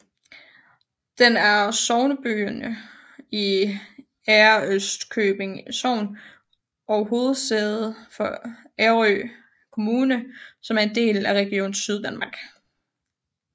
Den er sognebyen i Ærøskøbing Sogn og hovedsæde for Ærø Kommune som er en del af Region Syddanmark